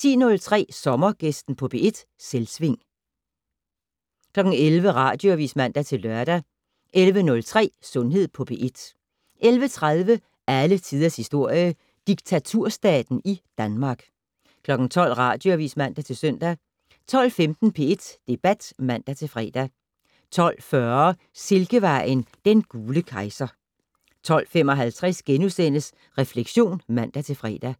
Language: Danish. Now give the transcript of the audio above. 10:03: Sommergæsten på P1: Selvsving 11:00: Radioavis (man-lør) 11:03: Sundhed på P1 11:30: Alle tiders historie: Diktaturstaten i Danmark 12:00: Radioavis (man-søn) 12:15: P1 Debat (man-fre) 12:40: Silkevejen: Den gule kejser 12:55: Refleksion *(man-fre)